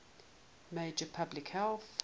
major public health